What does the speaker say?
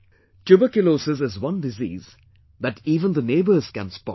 Tuberculosis is one disease that even the neighbours can spot